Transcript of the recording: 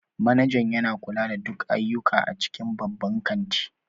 Manajan yana kula da duk ayyuka a cikin babban kanti